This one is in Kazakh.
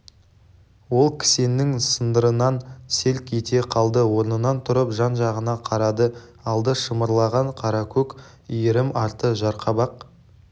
ол кісеннің сылдырынан селк ете қалды орнынан тұрып жан-жағына қарады алды шымырлаған қаракөк иірім арты жарқабақ